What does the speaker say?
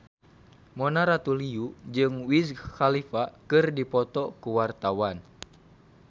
Mona Ratuliu jeung Wiz Khalifa keur dipoto ku wartawan